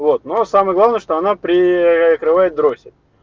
вот но самое главное что она прикрывает дроссель